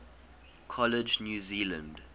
college new zealand